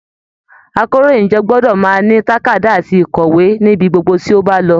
Àkòróyinjọ́ gbọdọ máa ní tàkádá àti ikọwe níbí gbogbo tí o ba lọ.